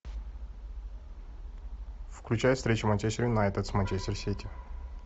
включай встречу манчестер юнайтед с манчестер сити